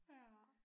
Ja